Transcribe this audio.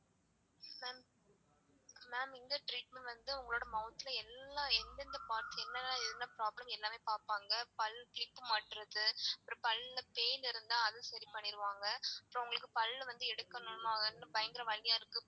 ma'am இங்க treatment வந்து உங்களுடைய mouth ல எல்லா எந்தெந்த parts என்னென்ன என்ன problems எல்லாமே பாப்பாங்க பல் clip மாட்றது அப்பறம் பல்ல pain இருந்தா அது சரி பண்ணிருவாங்க அப்பறம் உங்களுக்கு பல் வந்து எடுக்கணும்னா பயங்கர வலியா இருக்கு.